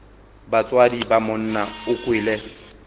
batswadi ba monna o kwele